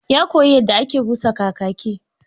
Ya koyi yadda ake busa kakaki